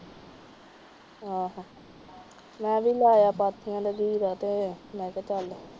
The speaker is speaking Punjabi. ਅਹ ਮੈ ਵੀ ਲੈ ਆਇਆ ਪਾਥੀਆਂ ਦਾ ਬੀਰਾ ਤੇ